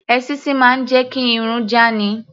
Èṣíṣí máa ń jẹ́ kí irun já ni.